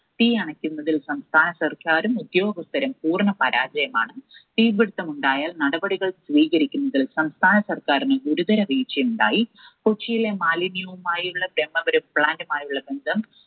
തീ അണയ്ക്കുന്നതിൽ സംസ്ഥാന സർക്കാരും ഉദ്യോഗസ്ഥരും പൂർണ്ണ പരാജയമാണ്. തീ പിടിത്തമുണ്ടായാൽ നടപടികൾ സ്വീകരിക്കുന്നതിന് സംസ്ഥാന സർക്കാരിന് ഗുരുതര വീഴ്ചയുണ്ടായി. കൊച്ചിയിലെ മാലിന്യവുമായുള്ള ബ്രഹ്മപുരം plant മായുള്ള ബന്ധം